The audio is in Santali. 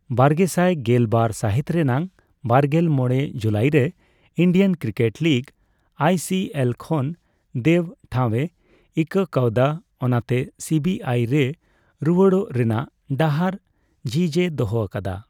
ᱵᱟᱨᱜᱮᱥᱟᱭ ᱜᱮᱞ ᱵᱟᱨ ᱥᱟᱦᱤᱛ ᱨᱮᱱᱟᱜ ᱵᱟᱨᱜᱮᱞ ᱢᱚᱲᱮ ᱡᱩᱞᱟᱭᱨᱮ ᱤᱱᱰᱤᱭᱟᱱ ᱠᱨᱤᱠᱮᱴ ᱞᱤᱜᱽ (ᱟᱭᱥᱤᱮᱞ) ᱠᱷᱚᱱ ᱫᱮᱵᱽ ᱴᱷᱟᱣᱮ ᱤᱠᱟᱹᱠᱟᱣᱫᱟ, ᱚᱱᱟᱛᱮ ᱥᱤᱵᱤᱟᱭ ᱨᱮ ᱨᱩᱣᱟᱹᱲᱚᱜ ᱨᱮᱱᱟᱜ ᱰᱟᱦᱟᱨ ᱡᱷᱤᱡᱮ ᱫᱚᱦᱚ ᱟᱠᱟᱫᱟ ᱾